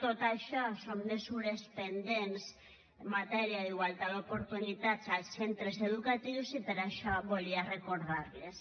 tot això són mesures pendents en matèria d’igualtat d’oportunitats als centres educatius i per això volia recordar les